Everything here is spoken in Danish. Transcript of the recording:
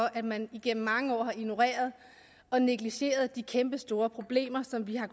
at man igennem mange år har ignoreret og negligeret de kæmpestore problemer som vi har